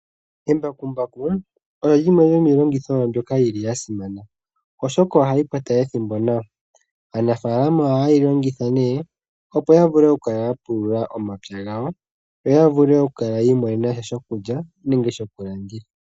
Embakumbaku olyo limwe lyomiilongitho mbyoka yi li yasimana, oshoka ohali kwata ethimbo nawa. Aanafaalama ohaye li longitha ne opo ya vule okukala ya pulula omapya gawo, yoya vule okukala yiimonena sha shokulya nenge shokulanditha.